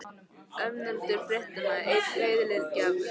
Ónefndur fréttamaður: En veiðileyfagjaldið?